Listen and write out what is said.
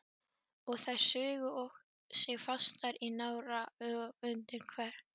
Og þær sugu sig fastar í nára og undir kverk.